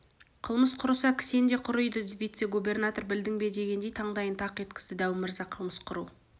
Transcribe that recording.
қылмыс құрыса кісен де құриды вице-губернатор білдің бе дегендей таңдайын тақ еткізді дәу мырза қылмыс құру